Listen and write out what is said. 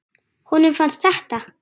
Honum fannst þetta.